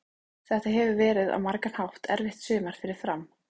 Þetta hefur verið á margan hátt erfitt sumar fyrir Fram.